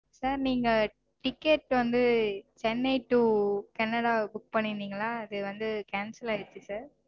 Sir நீங்க ticket வந்து Chennai to Canada book பண்ணிருந்தீங்கல்ல அது cancel ஆயிருச்சு sir